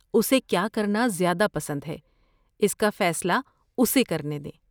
اسے کیا کرنا زیادہ پسند ہے اس کا فیصلہ اسے کرنے دیں۔